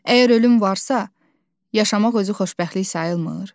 Əgər ölüm varsa, yaşamaq özü xoşbəxtlik sayılmır.